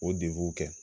O kɛ